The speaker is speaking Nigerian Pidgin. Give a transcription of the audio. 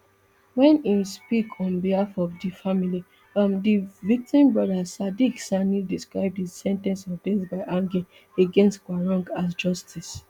wen im speak on behalf of di family um di victim brother sadiq sani describe di sen ten ce of death by hanging against quarong as justice